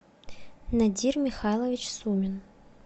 надир михайлович сумин